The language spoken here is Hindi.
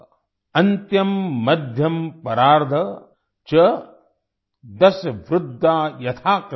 अन्त्यं मध्यं परार्ध च दश वृद्ध्या यथा क्रमम्